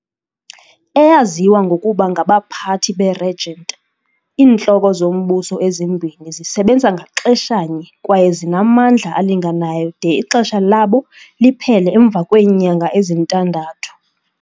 Eyaziwa ngokuba ngabaphathi be-regent, iintloko zombuso ezimbini zisebenza ngaxeshanye kwaye zinamandla alinganayo de ixesha labo liphele emva kweenyanga ezintandathu.